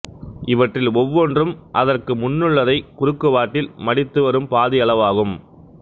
இவற்றில் ஒவ்வொன்றும் அதற்கு முன்னுள்ளதைக் குறுக்குவாட்டில் மடித்து வரும் பாதி அளவாகும்